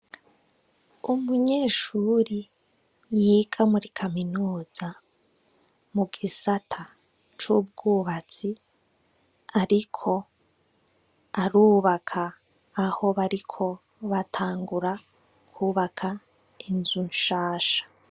Umunyeshiri yiga muri kaminuza, mugisata c'ubwubatsi, ariko arubaka aho bariko batangura kwubaka inzu nshasha.